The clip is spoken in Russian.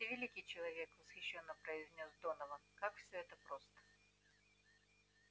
ты великий человек восхищённо произнёс донован как всё это просто